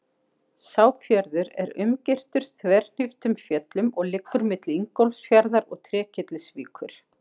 Sá fjörður er umgirtur þverhníptum fjöllum og liggur milli Ingólfsfjarðar og Trékyllisvíkur.